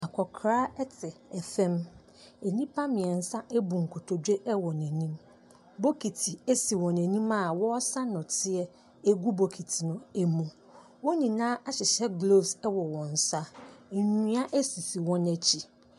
Akokora ɛte fam, nnipa mmiensa abu nkotodwe ɛwɔ n'anim, bokiti asi wɔn anim a wɔsa nnɔteɛ agu bokiti no ɛmu. Wɔn nyinaa ahyehyɛ gloves ɛwɔ wɔn nsa. Nnua asisi wɔn akyi.